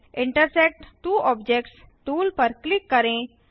intersect two objects tool पर click करें